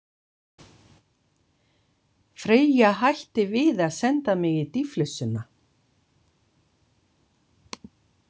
Freyja hætti við að senda mig í dýflissuna.